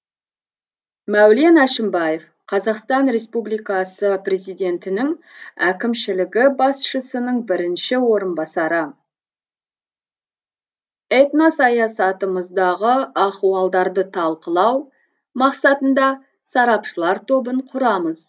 мәулен әшімбаев қазақстан реуспубликасы президентінің әкімшілігі басшысының бірінші орынбасары этносаясатымыздағы ахуалдарды талқылау мақсатында сарапшылар тобын құрамыз